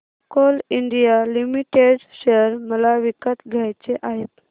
Coal India limited share मला विकत घ्यायचे आहेत